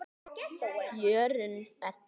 Jórunn Edda.